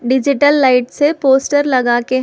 digital light से poster लगाके--